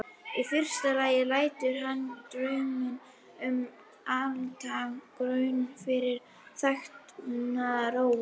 Í fyrsta lagi lætur hann drauminn um altækan grunn fyrir þekkinguna róa.